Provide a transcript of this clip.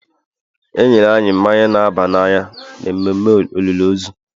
e nyere anyị naba n'anya n’ememme olili ozu